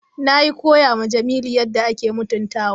Nayi koya ma Jamilu yadda ake mutuntawa.